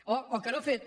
o que no ha fet